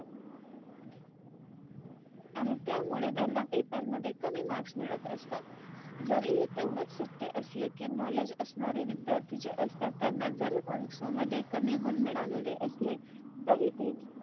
आणि त्यामुळे त्यांना Paper मध्ये कमी Marks मिळत असतात. जरी हे तेवढंच सत्य असलं कि Knowledge असणारे विध्यार्थी जे असतात त्यानां जरी परीक्षेमध्ये कमी गुण मिळालेले असले तरी ते